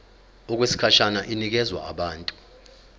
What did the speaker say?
okwesikhashana inikezwa abantu